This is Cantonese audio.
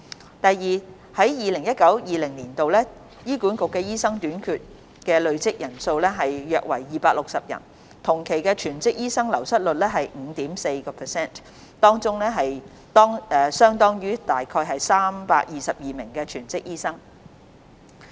二在 2019-2020 年度，醫管局的醫生短缺累計人數約為260人，而同期的全職醫生流失率為 5.4%， 相當於約322名全職醫生。